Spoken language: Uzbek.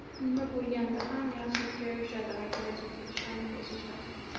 Nima bo‘lganda ham, yaxshilikka yo‘yishadi va kelajakka ishonib yashashadi.